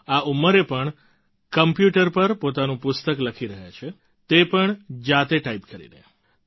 તેઓ આ ઉંમરે પણ કોમ્પ્યુટર પર પોતાનું પુસ્તક લખી રહ્યા છે તે પણ જાતે ટાઈપ કરીને